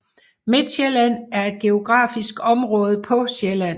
Midtsjælland er et geografisk område på Sjælland